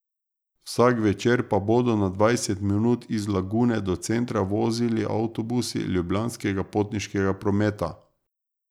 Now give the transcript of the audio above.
Vsak večer pa bodo na dvajset minut iz Lagune do centra vozili avtobusi Ljubljanskega potniškega prometa.